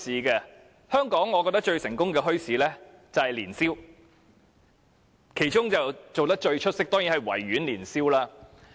在香港，我覺得最成功的墟市就是年宵市場。其中做得最出色的，當然是維園年宵市場。